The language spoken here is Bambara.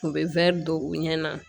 U bɛ wɛri don u ɲɛ na